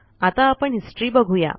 आता आपणHistory बघू या